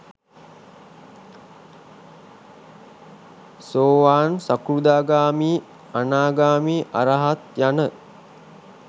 සෝවාන්, සකෘදාගාමි, අනාගාමි, අරහත් යන